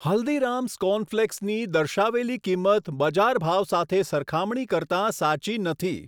હલ્દીરામ્સ કોર્નફ્લેક્સની દર્શાવેલી કિંમત બજાર ભાવ સાથે સરખામણી કરતાં સાચી નથી.